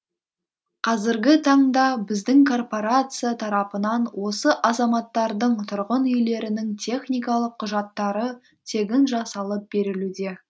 қазіргі таңда біздің корпорация тарапынан осы азаматтардың тұрғын үйлерінің техникалық құжаттары тегін жасалып берілуде